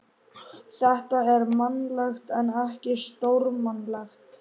Þetta er mannlegt en ekki stórmannlegt.